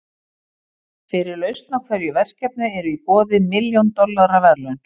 Fyrir lausn á hverju verkefni eru í boði milljón dollara verðlaun.